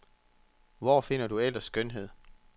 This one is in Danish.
Hvor finder du ellers skønhed?